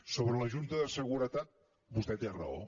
sobre la junta de seguretat vostè té raó